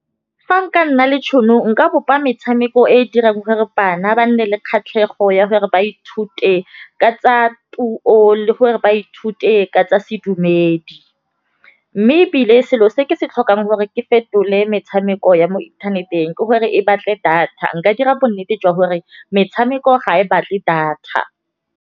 Fa nka nna le tšhono nka bopa metšhameko e dirang gore bana ba nne le kgatlhego ya gore ba ithute. Ka tsa puo le gore ba ithute ka tsa sedumedi, mme ebile selo se ke se tlhokang gore ke fetole metšhameko ya mo inthaneteng ke gore e batle data. Nka dira bonnete jwa gore metšhameko ga e batle data.